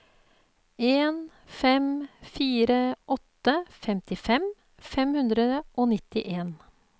en fem fire åtte femtifem fem hundre og nittien